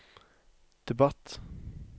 debatt